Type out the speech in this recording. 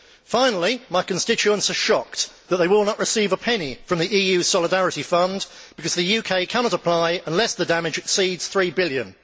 Finally, my constituents are shocked that they will not receive a penny from the EU Solidarity Fund, because the UK cannot apply unless the damage exceeds EUR 3 billion.